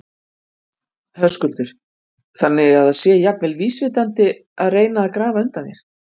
Höskuldur: Þannig að það sé jafnvel vísvitandi að reyna að grafa undan þér?